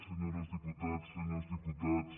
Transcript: senyores diputades senyors diputats